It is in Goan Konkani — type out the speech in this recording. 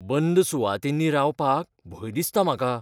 बंद सुवातींनी रावपाक भंय दिसता म्हाका.